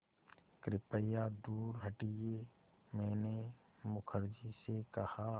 कृपया दूर हटिये मैंने मुखर्जी से कहा